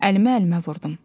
Əlimi əlimə vurdum.